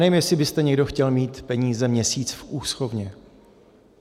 Nevím, jestli byste někdo chtěl mít peníze měsíc v úschovně.